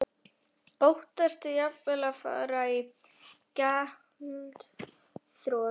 Óttastu jafnvel að fara í gjaldþrot?